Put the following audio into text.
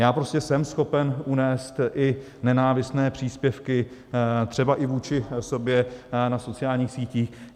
Já prostě jsem schopen unést i nenávistné příspěvky třeba i vůči sobě na sociálních sítích.